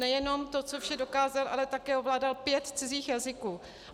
Nejenom to, co vše dokázal, ale také ovládal pět cizích jazyků.